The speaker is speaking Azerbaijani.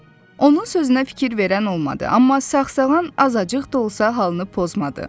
Onun sözünə fikir verən olmadı, amma sağsağan azacıq da olsa halını pozmadı.